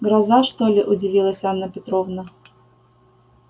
гроза что ли удивилась анна петровна